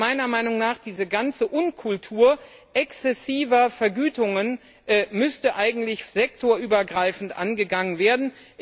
Aber meiner Meinung nach müsste diese ganze Unkultur exzessiver Vergütungen eigentlich sektorübergreifend angegangen werden.